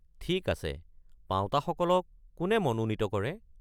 ঠিক আছে, পাওঁতাসকলক কোনে মনোনীত কৰে?